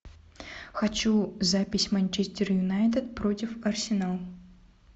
хочу запись манчестер юнайтед против арсенал